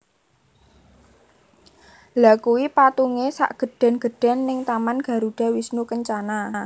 Lha kui patunge sak gedhen gedhen ning taman Garuda Wisnu Kencana